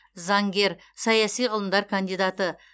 заңгер саяси ғылымдар кандидаты